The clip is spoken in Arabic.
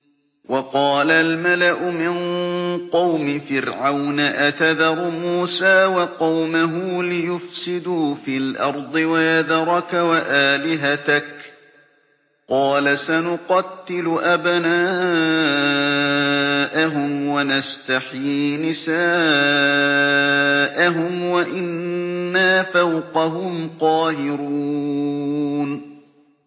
وَقَالَ الْمَلَأُ مِن قَوْمِ فِرْعَوْنَ أَتَذَرُ مُوسَىٰ وَقَوْمَهُ لِيُفْسِدُوا فِي الْأَرْضِ وَيَذَرَكَ وَآلِهَتَكَ ۚ قَالَ سَنُقَتِّلُ أَبْنَاءَهُمْ وَنَسْتَحْيِي نِسَاءَهُمْ وَإِنَّا فَوْقَهُمْ قَاهِرُونَ